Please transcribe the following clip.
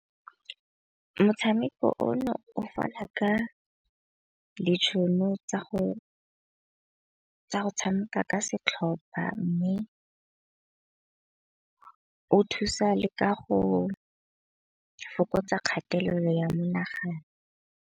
Motshameko o no o fana ka ditšhono tsa go tshameka ka setlhopha, mme o thusa le ka go fokotsa kgatelelo ya menagano.